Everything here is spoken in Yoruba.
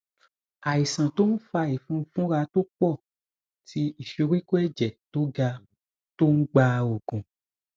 àìsàn tó ń fa ìfunfunra tó pò tí ìsoríkó èjè tó ga tó ń gba oògùn